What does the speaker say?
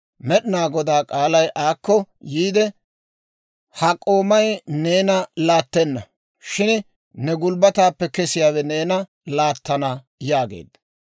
Med'inaa Godaa k'aalay aakko yiide, «Ha k'oomay neena laattenna; shin ne gulbbataappe kesiyaawe neena laattana» yaageedda.